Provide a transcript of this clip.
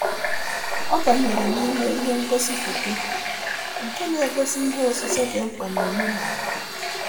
Ọ banyere n'ime ihe ngosi foto nke na-egosi ihe osise dị mkpa na-omenala.